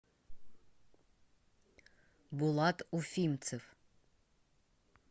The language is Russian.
булат уфимцев